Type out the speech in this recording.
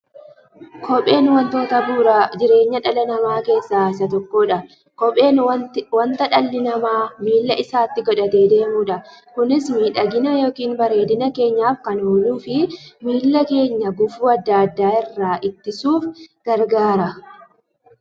Kopheen wantoota bu'uura jireenya dhala namaa keessaa isa tokkodha. Kopheen wanta dhalli namaa miilla isaatti godhatee deemudha. Kunis miidhagani yookiin bareedina keenyaf kan ooluufi miilla keenya gufuu adda addaa irraa ittisuuf gargaara.